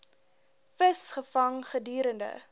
vis gevang gedurende